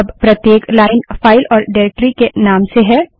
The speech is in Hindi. अब प्रत्येक लाइन फाइल और डाइरेक्टरी के नाम से है